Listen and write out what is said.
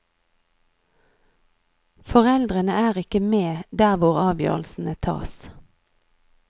Foreldrene er ikke med der hvor avgjørelsene tas.